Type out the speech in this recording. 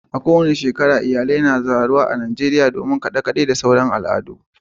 A duk karshen mako, iyalai suna taruwa a dandalin garin a Najeriya, suna jin daɗin kaɗe-kaɗe da wasannin al'adu.